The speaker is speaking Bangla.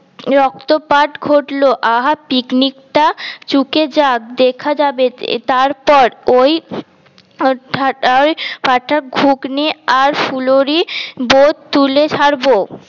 রক্তপাত ঘটল আহা পিকনিক টা চুকে যাক দেখা যাবে তারপর ওই ঘুগনি আর ফুলুরি বোদ তুলে ছাড়ব